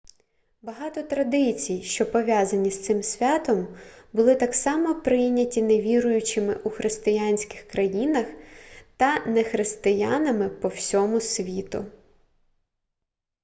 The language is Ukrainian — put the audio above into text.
багато традицій що пов'язані з цим святом були так само прийняті невіруючими у християнських країнах та нехристиянами по всьому світу